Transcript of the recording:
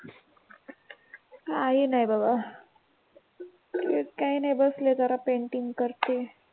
काही नाही, बाबा. तेच काही नाही बसले जरा पेन्टिंग करते.